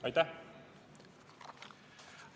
Aitäh!